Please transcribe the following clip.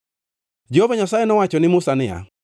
Jehova Nyasaye nowacho ni Musa niya,